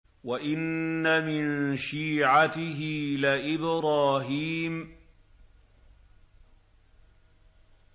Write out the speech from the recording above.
۞ وَإِنَّ مِن شِيعَتِهِ لَإِبْرَاهِيمَ